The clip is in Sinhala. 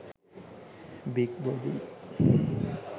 big body